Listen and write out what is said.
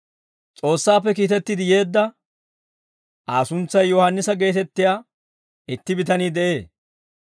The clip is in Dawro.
S'oossaappe kiitetti yeedda Aa suntsay Yohaannisa geetettiyaa itti bitanii de'ee.